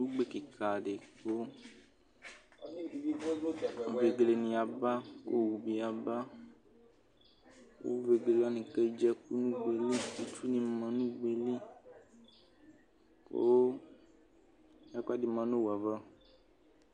ugbe kika di kʋ vegele ni yaba, ku owʋ bi yabaku vegele wani kedzi ɛku nu ugbe yɛ liku itsu ni ma nu ugbe yɛ liku ɛku ɛdi ma nu owu yɛ'ava